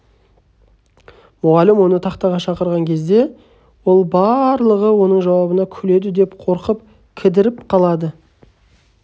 мұғалім оны тақтаға шақырған кезде ол барлығы оның жауабына күледі деп қорқып кідіріп қалады